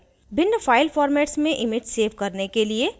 भिन्न file formats में image save करने के लिए: